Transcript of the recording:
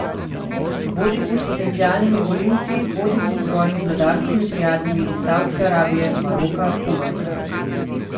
Bodisi s potencialnimi volivci bodisi s svojimi vladarskimi prijatelji iz Saudske Arabije, Maroka, Kuvajta ...